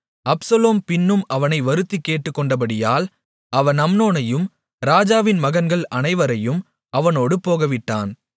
Absalom பின்பும் அவனை வருந்திக் கேட்டுக்கொண்டபடியால் அவன் அம்னோனையும் ராஜாவின் மகன்கள் அனைவரையும் அவனோடு போகவிட்டான்